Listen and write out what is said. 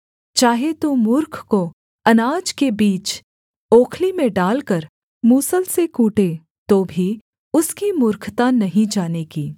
चाहे तू मूर्ख को अनाज के बीच ओखली में डालकर मूसल से कूटे तो भी उसकी मूर्खता नहीं जाने की